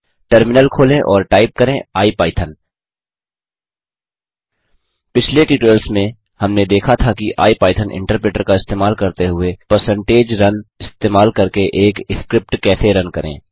terminal खोलें और type करें इपिथॉन पिछले ट्यूटोरियल्स में हमने देखा था कि आईपाइथन इन्टरप्रेटर का इस्तेमाल करते हुए परसेंटेज रुन इस्तेमाल करके एक स्क्रिप्ट कैसे रन करें